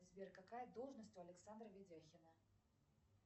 сбер какая должность у александра ведяхина